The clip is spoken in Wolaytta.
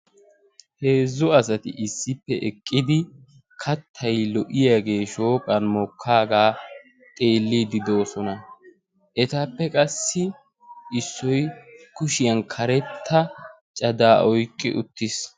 heezzu asati issippe eqqidi kaattay lo"iyaagee shooqqan mokkaagaa xeellidi de"oosona. etappe qassi issoy kushiyaan karetta cadaa oyqqi uttiis.